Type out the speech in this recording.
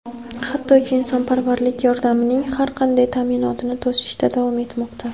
hattoki insonparvarlik yordamining har qanday ta’minotini to‘sishda davom etmoqda.